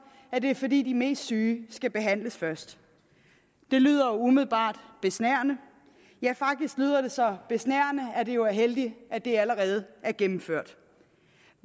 at det er fordi de mest syge skal behandles først det lyder umiddelbart besnærende ja faktisk lyder det så besnærende at det jo er heldigt at det allerede er gennemført